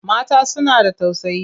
Mata suna da tausayi.